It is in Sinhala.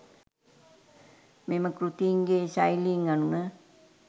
මෙම කෘතීන්ගේ ශෛලීන් අනුව